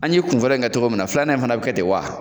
An ye kunfɔlɔ in kɛ cogo min na filanan in fɛnɛ be kɛ de wa